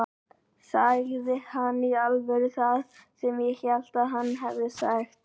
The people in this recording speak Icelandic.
Sagði hann í alvöru það sem ég hélt að hann hefði sagt?